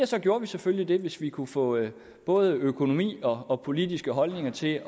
så gjorde vi selvfølgelig det hvis vi kunne få både økonomi og og politiske holdninger til